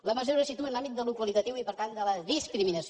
la mesura se situa en l’àmbit d’allò qualitatiu i per tant de la discriminació